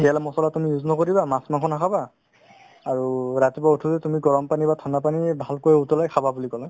তেল মছলা তুমি use নকৰিবা মাছ-মাংস নাখাবা আৰু ৰাতি উঠি তুমি গৰম পানী বা ঠাণ্ডা পানী ভালকৈ উতলাই খাবা বুলি ক'লে